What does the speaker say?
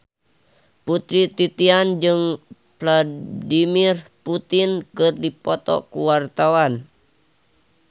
Putri Titian jeung Vladimir Putin keur dipoto ku wartawan